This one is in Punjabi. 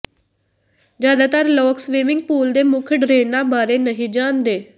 ਜ਼ਿਆਦਾਤਰ ਲੋਕ ਸਵੀਮਿੰਗ ਪੂਲ ਦੇ ਮੁੱਖ ਡਰੇਨਾਂ ਬਾਰੇ ਨਹੀਂ ਜਾਣਦੇ